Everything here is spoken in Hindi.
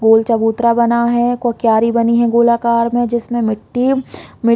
गोल चबूतरा बना है ए को क्यारी बनी है गोल आकार में जिसमे मिटटी मीट --